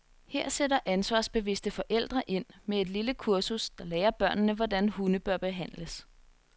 Her sætter ansvarsbevidste forældre ind med et lille kursus, der lærer børnene, hvordan hunde bør behandles.